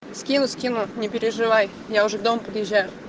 скину скину не переживай я уже к дому подъезжаю